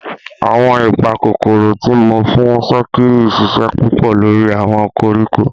Awọn ipakokoro ti mo fun sokiri ṣiṣẹ pupọ lori awọn koriko.